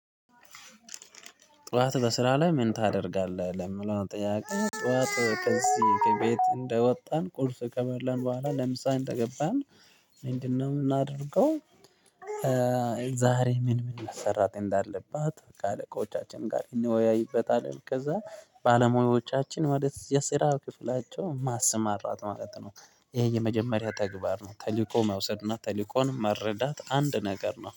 ጠዋት በስራ ላይ ምን ታደርጋለህ? ለምለው ጠያቄ ጠዋት ከዚህ ከቤት እንደወጣን ቁርስ ከበላን በኋላ ለምሳሌ እንደገባን ምንድነውምናደርገው። ዛሬ ምን ምን መሰራት እንዳለባት በቃ አለቆቻችን ጋር እንወያይበታለን። ከዛ ባለሙያዎቻችን ወደ የስራ ክፍላቸው ማስማራት ማለት ነው። ይሄ የመጀመሪያ ተግባር ነው ተልእኮ መውሰድ እና ተልእኮን መረዳት አንድ ነገር ነው